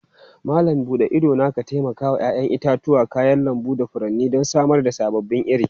Malam bude idona taimakawa 'ya'yan itatuwa, kayan lambu da furanni don samar da sababbin iri.